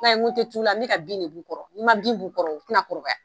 I m'a ye nin tɛ ciw la, ni bɛka bin bɔ u kɔrɔ, n'i ma bin b'u kɔrɔ u tɛna kɔrɔbaya.